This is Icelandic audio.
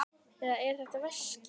Eða er þetta veski?